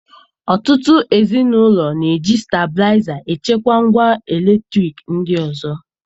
Ọtụtụ ezi n'ụlọ na-eji stablaịza e chekwa ngwa eletriki ndị ọzọ